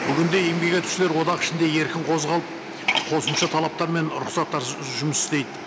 бүгін де еңбек етушілер одақ ішінде еркін қозғалып қосымша талаптар мен рұқсаттарсыз жұмыс істейді